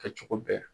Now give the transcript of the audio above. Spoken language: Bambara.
Kɛcogo bɛɛ